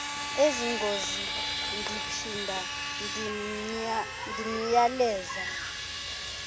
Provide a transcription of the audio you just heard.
ezingozini ndiphinda ndimyaleza